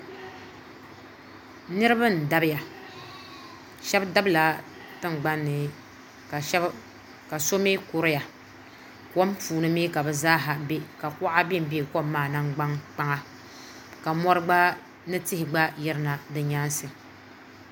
Niriba n dabiya shɛba dabi la tiŋgbani ni ka so mi kuriya k puuni mi ka bi zaaha bɛ ka kuɣa bɛ nbɛ kom maa nangdani kpaŋa ka mori gba ni tihi gba yiri na di nyɛnsi.